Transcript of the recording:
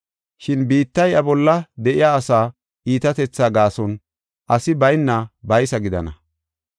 Shin biittay iya bolla de7iya asaa iitatetha gaason asi bayna baysa gidana.